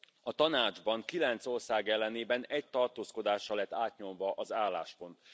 A Tanácsban, kilenc ország ellenében, egy tartózkodással lett átnyomva az álláspont.